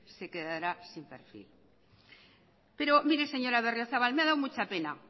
se quedará sin perfil pero mire señora berriozabal me ha dado mucha pena